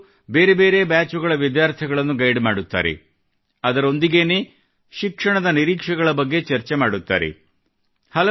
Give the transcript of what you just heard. ಇದರಲ್ಲಿಅವರು ಬೇರೆಬೇರೆ ಬ್ಯಾಚ್ಗಳ ವಿದ್ಯಾರ್ಥಿಗಳನ್ನು ಗೈಡ್ ಮಾಡುತ್ತಾರೆ ಅದರೊಂದಿಗೆನೇ ಶಿಕ್ಷಣದ ನಿರೀಕ್ಷೆಗಳ ಬಗ್ಗೆ ಚರ್ಚೆ ಮಾಡುತ್ತಾರೆ